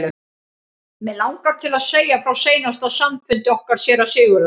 Mig langar til að segja frá seinasta samfundi okkar séra Sigurðar.